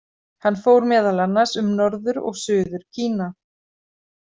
Hann fór meðal annars um Norður- og Suður-Kína.